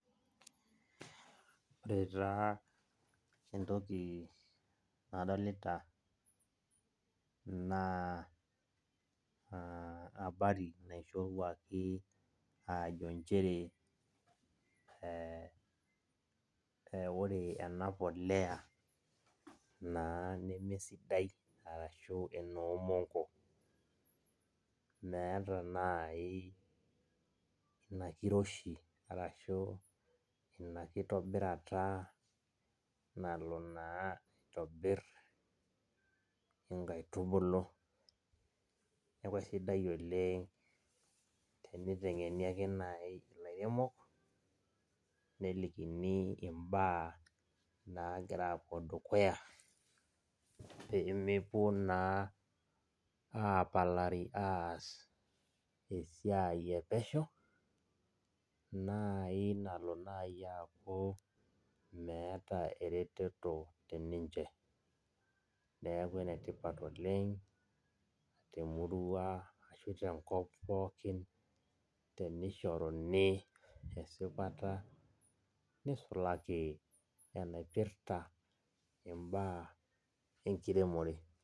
Ore taa entoki nadolita naa, abari naishoruaki ajo njere ore ena polea, naa nemesidai arashu enoomonko. Meeta nai ina kiroshi, arashu ina kitobirata nalo naa aitobir inkaitubulu. Neeku aisidai oleng teniteng'eni ake nai ilairemok, nelikini imbaa nagira apuo dukuya, pemepuo naa apalari aas esiai epesho, nai nalo nai aku meeta ereteto teninche. Neeku enetipat oleng, temurua ashu tenkop pookin tenishoruni esipata, nisulaki enaipirta imbaa enkiremore.